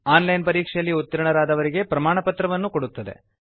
on line ಪರೀಕ್ಷೆಯಲ್ಲಿ ಉತ್ತೀರ್ಣರಾದವರಿಗೆ ಪ್ರಮಾಣಪತ್ರವನ್ನು ಕೊಡುತ್ತದೆ